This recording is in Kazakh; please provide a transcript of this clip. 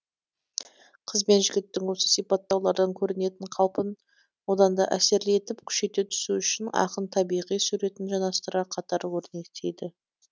қыз бен жігіттің осы сипаттаулардан көрінетін қалпын одан да әсерлі етіп күшейте түсу үшін ақын табиғи суретін жанастыра қатар өрнектейді